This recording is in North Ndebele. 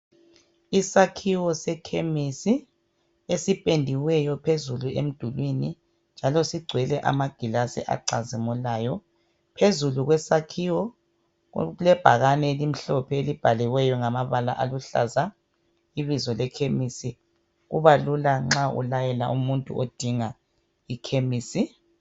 Isakhiwo sekhemisi esipendiweyo phezulu emdulwini njalo sigcwele amagilazi acazimulayo. Phezulu kwesakhiwo kulebhakane elimhlophe elibhaliweyo ngamabala aluhlaza ibizo lekhemisi, kuba lula nxa ulayela umuntu odinga ikhemisi.